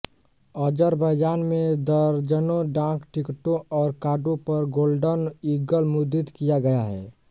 Azerbaijan में दर्जनों डाक टिकटों और कार्डों पर गोल्डन ईगल मुद्रित किया गया है